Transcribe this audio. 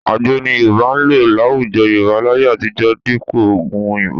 Àgbo ni Yorùbá ń lò láwùjọ Yorùbá láyé àtijọ́ dípò oògùn òyìnbó